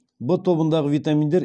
в тобындағы витаминдер